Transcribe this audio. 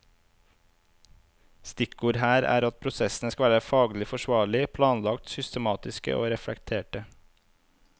Stikkord her er at prosessene skal være faglig forsvarlige, planlagte, systematiske og reflekterte.